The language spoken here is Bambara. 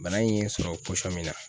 Bana in ye n sɔrɔ pɔsɔn min na